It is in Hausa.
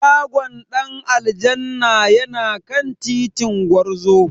Shagon Dan aljanna yana kan titin Gwarzo.